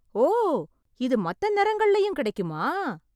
ஓ! இது மத்த நிறங்கள்லயும் கிடைக்குமா!